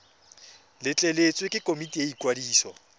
letleletswe ke komiti ya ikwadiso